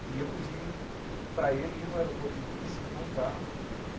E eu pedi para ele ir no aeroporto de Nice encontrar.